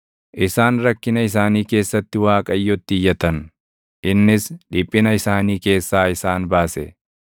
Isaan rakkina isaanii keessatti Waaqayyotti iyyatan; innis dhiphina isaanii keessaa isaan baase.